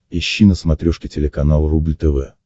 ищи на смотрешке телеканал рубль тв